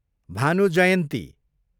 Bhanu Jayanti